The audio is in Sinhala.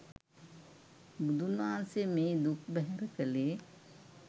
බුදුන් වහන්සේ මේ දුක් බැහැර කළේ